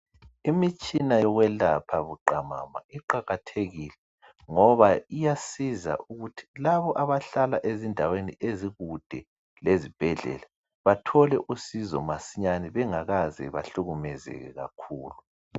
Imitshina yokwelapha buqamama iqakathekile ngoba iyasiza ukuthi labo abahlala ezindaweni ezikude lezibhedlela bathole usizo masinyane bengakaze bahlukumezeke kakhulu